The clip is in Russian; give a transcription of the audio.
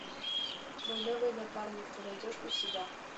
мой новый напарник ты найдешь у себя